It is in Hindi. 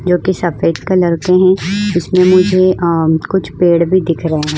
जो की सफेद कलर के है इसमें मुझे अ कुछ पेड भी दिख रहे है।